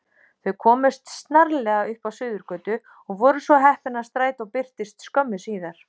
Þau komust snarlega upp á Suðurgötu og voru svo heppin að strætó birtist skömmu síðar.